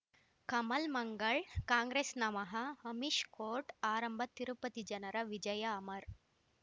ಕಮಲ್ ಮಂಗಳ್ ಕಾಂಗ್ರೆಸ್ ನಮಃ ಅಮಿಷ್ ಕೋರ್ಟ್ ಆರಂಭ ತಿರುಪತಿ ಜನರ ವಿಜಯ ಅಮರ್